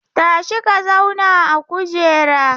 Tashi ka zauna a kujera!